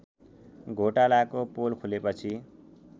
घोटालाको पोल खुलेपछि